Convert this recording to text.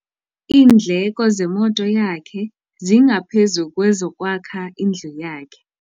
Iindleko zemoto yakhe zingaphezu kwezokwakha indlu yakhe.